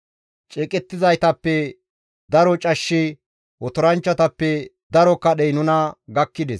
Ceeqettizaytappe daro cashshi otoranchchatappe daro kadhey nuna gakkides.